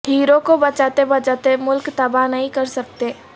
hero کو بچاتے بچاتے ملک تباہ نہیں کر سکتے